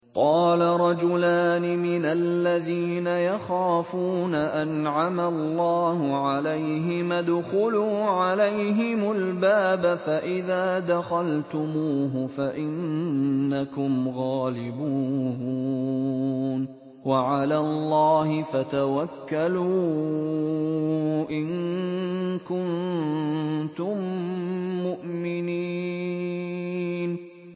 قَالَ رَجُلَانِ مِنَ الَّذِينَ يَخَافُونَ أَنْعَمَ اللَّهُ عَلَيْهِمَا ادْخُلُوا عَلَيْهِمُ الْبَابَ فَإِذَا دَخَلْتُمُوهُ فَإِنَّكُمْ غَالِبُونَ ۚ وَعَلَى اللَّهِ فَتَوَكَّلُوا إِن كُنتُم مُّؤْمِنِينَ